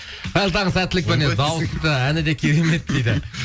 қайырлы таң сәттілік дауысы да әні де керемет дейді